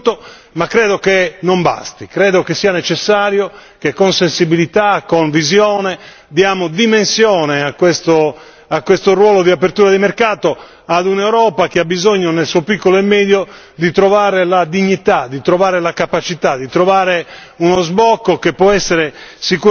Io credo quindi che l'accordo raggiunto sia importante, ma credo che non basti, credo che sia necessario che con sensibilità, con visione, diamo dimensione a questo ruolo di apertura di mercato ad un'Europa che ha bisogno, nel suo piccolo e medio, di trovare la dignità, di trovare la capacità, di trovare